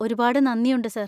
ഒരുപാട് നന്ദിയുണ്ട്, സാർ.